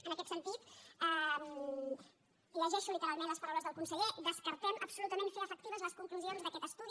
en aquest sentit llegeixo literalment les paraules del conseller descartem absolutament fer efectives les conclusions d’aquest estudi